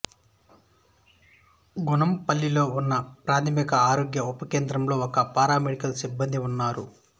గుణ్ణంపల్లిలో ఉన్న ఒక ప్రాథమిక ఆరోగ్య ఉప కేంద్రంలో ఒక పారామెడికల్ సిబ్బంది ఉన్నారు